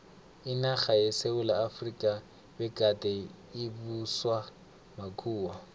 inarha yesewula efrika begade ibuswa makhuwa